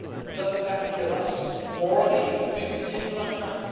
Doesn't that kill us morally if we continue like that?